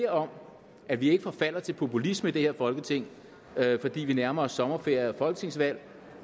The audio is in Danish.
om at vi ikke forfalder til populisme i det her folketing fordi vi nærmer os sommerferie og folketingsvalg